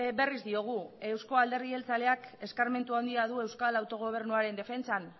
berriz diogu euzko alderdi jeltzaleak eskarmentu handi du euskal autogobernuaren defentsan